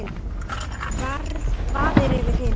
Vaðið er yfir hina.